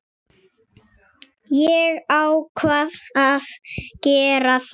Ég ákvað að gera það.